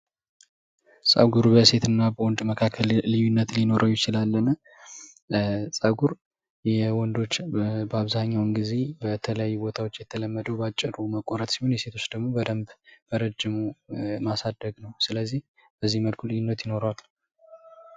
ጸጉር በሴትና በወንድ መካከል ልዩነት ሊኖረው ይችላልን? ጸጉር የወንዶች በአብዛኛውን ጊዜ በብዙ ቦታወች የተለመደው በአጭሩ መቆረጥ ሲሆን የሴቶች ደግሞ በደንብ በረጅሙ ማሳደግ ነው። ስለዚህ በዚህ መንገድ ልዩነት አለው።